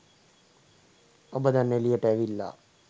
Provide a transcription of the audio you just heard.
ඔබ දැන් එළියට ඇවිල්ලා